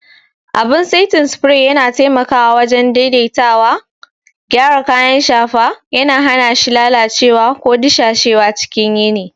Abin saitin spray yana taimakawa wajen daidaitawa, gyara kayan shafa, yana hana shi lalacewa ko dusashewa cikin yini.